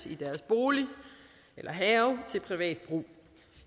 i deres bolig eller have til privat brug